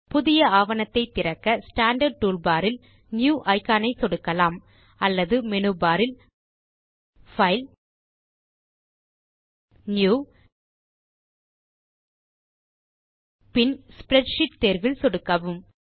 புதிய ஆவணத்தை திறக்க ஸ்டாண்டார்ட் டூல்பார் இல் நியூ இக்கான் ஐ சொடுக்கலாம் அல்லது மேனு பார் இல் பைல் பின் நியூ இறுதியாக ஸ்ப்ரெட்ஷீட் தேர்வில் சொடுக்கவும்